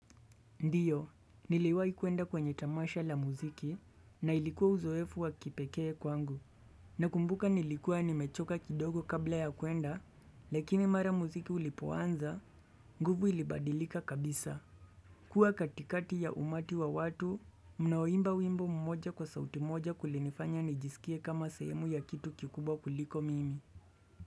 Ndiyo, niliwai kuenda kwenye tamasha la muziki, na ilikuwa uzoefu wa kipekee kwangu. Nakumbuka nilikuwa nimechoka kidogo kabla ya kuenda, lakini mara muziki ulipoanza, nguvu ilibadilika kabisa. Kuwa katikati ya umati wa watu, mnaoimba wimbo mmoja kwa sauti moja kulinifanya nijisikie kama sehemu ya kitu kikubwa kuliko mimi.